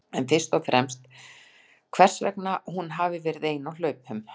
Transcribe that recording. En fyrst og fremst hvers vegna hún hafi verið ein á hlaupum?